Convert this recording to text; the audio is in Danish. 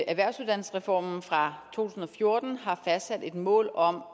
erhvervsuddannelsesreformen fra to tusind og fjorten har fastsat et mål om